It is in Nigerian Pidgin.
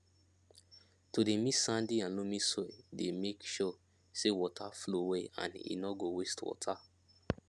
to dey mix sandy and loamy soil dey make sure say water flow well and e no go waste water